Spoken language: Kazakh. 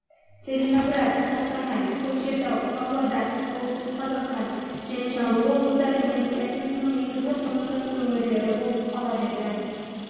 целиноград қостанай көкшетау павлодар солтүстік қазақстан және жамбыл облыстары неміс этносының негізгі қоныстану өңірлері болып қала берді